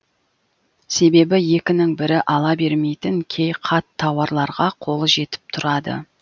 себебі екінің бірі ала бермейтін кей қат тауарларға қолы жетіп тұрады